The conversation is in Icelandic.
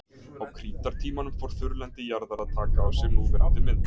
Á krítartímanum fór þurrlendi jarðar að taka á sig núverandi mynd.